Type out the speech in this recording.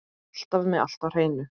Alltaf með allt á hreinu.